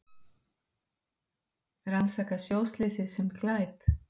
Rannsaka sjóslysið sem glæp